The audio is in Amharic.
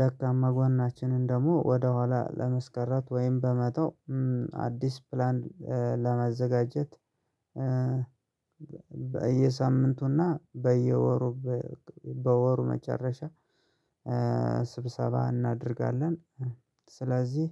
ደካማ ጎናችንን ደግሞ ወደኋላ ለመስቀረት ወይም በመተው አዲስ ፕላን ለመዘጋጀት። በየሳምንቱና በየወሩ በወሩ መጨረሻ ስብሰባ እናደርጋለን። ስለዚህ